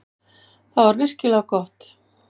Það var virkilega gott.